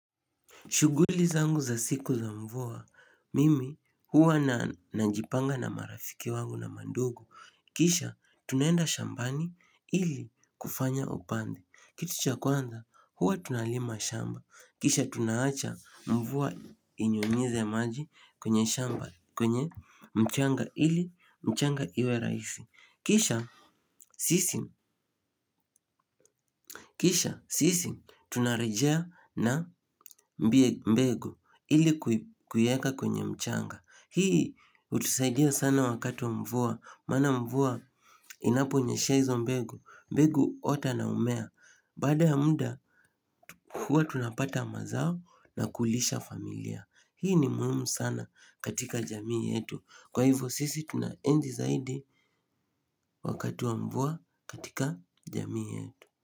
Shughuli zangu za siku za mvua, mimi huwa na najipanga na marafiki wangu na mandugu. Kisha, tunaenda shambani ili kufanya upandi. Kitu cha kwanza huwa tunalima shamba kisha tunaacha mvua inyunyize maji kwenye shamba, kwenye mchanga ili mchanga iwe rahisi. Kisha, sisi. Kisha, sisi. Tunarejea na mbegu ili kuieka kwenye mchanga. Hii hutusaidia sana wakati wa mvua. Maana mvua inaponyeshea hizo mbegu. Mbego huota na humea. Baada ya muda, huwa tunapata mazao na kulisha familia. Hii ni muhimu sana katika jamii yetu. Kwa hivyo sisi tunaenzi zaidi wakati wa mvua katika jamii yetu.